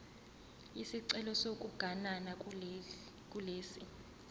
isicelo sokuganana kulesi